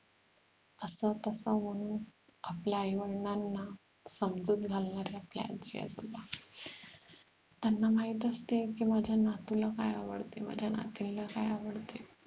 असं तसं बोलून आपल्या आई वडिलांना समजूत घालणारे आपले आजी आजोबा त्यांना माहित असते कि माझ्या नातूला काय आवडते माझ्या नातीला काय आवडते